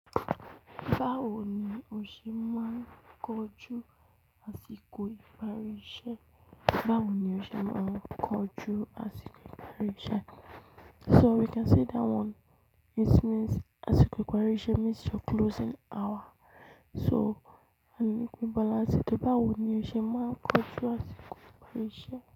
Báwo ni o ṣe máa ń kojú àsìkò ìparisẹ́? Báwo ni o ṣe máa ń kojú àsìkò ìfarisẹ́? So we can say that one, it means àsìkò ìfarisẹ́ means your closing hour. So, àní kú ìbọ̀lẹ̀ áṣẹ, báwo ni o ṣe máa ń kojú àsìkò ìfarisẹ́?